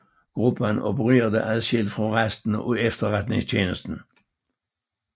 Gruppen opererede adskilt fra resten af Etterretningstjenesten